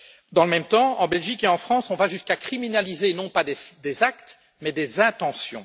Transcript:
Dans le même temps, en Belgique et en France, on va jusqu'à criminaliser, non pas des actes, mais des intentions.